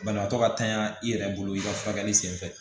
Banabaatɔ ka tanya i yɛrɛ bolo i ka furakɛli senfɛ